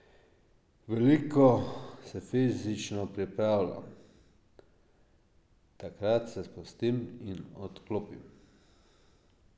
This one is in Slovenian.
Veliko se fizično pripravljam, takrat se sprostim in odklopim.